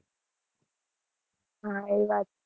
હા, એ વાત છે.